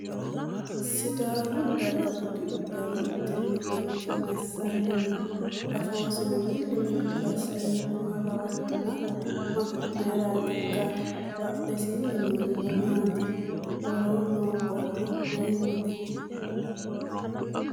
Sidaamu daga budu uddano uddirino manchi massanni no? Afoosino milli milli assanni nooha lawannona mayiiratikka? Badhesiinni noorino maati? Woroo noo borro mayiitate?